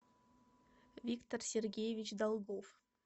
виктор сергеевич долгов